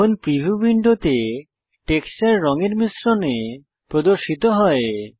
এখন প্রিভিউ উইন্ডোতে টেক্সচার রঙের মিশ্রণে প্রদর্শিত হয়